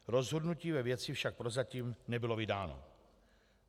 Rozhodnutí ve věci však prozatím nebylo vydáno.